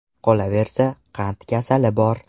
Qolaversa, qand kasali bor.